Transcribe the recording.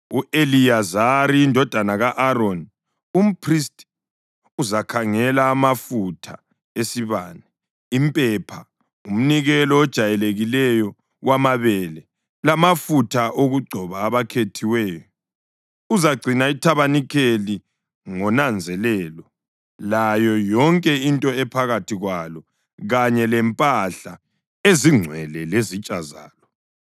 U-Eliyazari indodana ka-Aroni, umphristi, uzakhangela amafutha esibane, impepha, umnikelo ojayelekileyo wamabele lamafutha okugcoba abakhethiweyo. Uzagcina ithabanikeli ngonanzelelo layo yonke into ephakathi kwalo, kanye lempahla ezingcwele lezitsha zalo.”